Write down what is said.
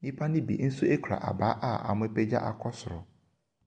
Nnipa no bi nso kura abaa a wɔapagya akɔ soro.